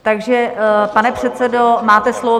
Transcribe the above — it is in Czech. Takže pane předsedo, máte slovo.